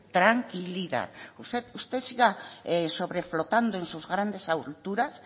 tranquilidad usted siga sobreflotando en sus grandes alturas